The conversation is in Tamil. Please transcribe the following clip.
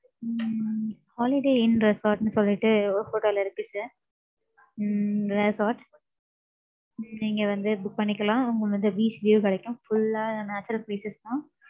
உம் Holiday in resort ன்னு சொல்லிட்டு, ஒரு hotel இருக்கு sir. உம் resort உம் நீங்க வந்து book பண்ணிக்கலாம். உங்களுக்கு வந்து, beach view கிடைக்கும். Full ஆ, natural places தான்.